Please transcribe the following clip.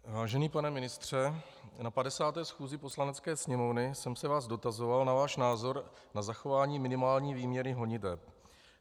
Vážený pane ministře, na 50. schůzi Poslanecké sněmovny jsem se vás dotazoval na váš názor na zachování minimální výměry honiteb.